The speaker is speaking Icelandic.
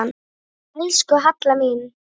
Elsku Halla mín.